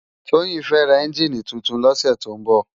Toyin fè rá ènjini tútún lòsè tó n bò